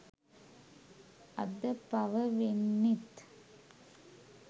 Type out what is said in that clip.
අද පව වෙන්නෙත්